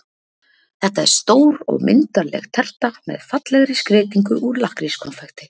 Þetta er stór og myndarleg terta með fallegri skreytingu úr lakkrískonfekti.